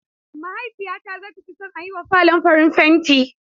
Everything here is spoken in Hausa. Mahaifiyata zata fi son a yiwa falon farin fenti.